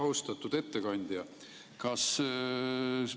Austatud ettekandja!